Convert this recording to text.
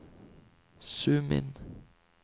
zoom inn